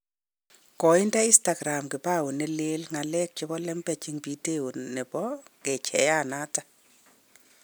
Koinde instakram kipao ne leen " ng'alek ab lembech" eng video nebo kecheiyanoto